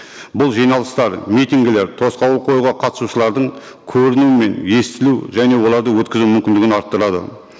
бұл жиналыстар митингілер тосқауыл қоюға қатысушылардың көрінуі мен естілу және оларды өткізу мүмкіндігін арттырады